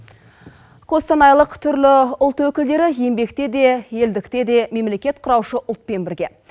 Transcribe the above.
қостанайлық түрлі ұлт өкілдері еңбектеде елдіктеде мемлекет құраушы ұлтпен бірге